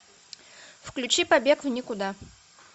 включи побег в никуда